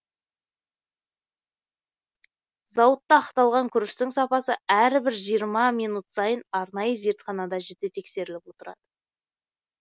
зауытта ақталған күріштің сапасы әрбір жиырма минут сайын арнайы зертханада жіті тексеріліп отырады